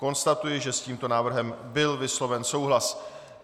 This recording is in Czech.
Konstatuji, že s tímto návrhem byl vysloven souhlas.